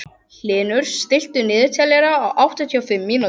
Hlynur, stilltu niðurteljara á áttatíu og fimm mínútur.